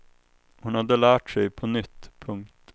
Hon hade lärt sig på nytt. punkt